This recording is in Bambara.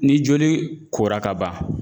Ni joli kora ka ban